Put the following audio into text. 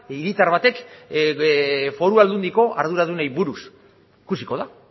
hiritar batek foru aldundiko arduradunei buruz ikusiko da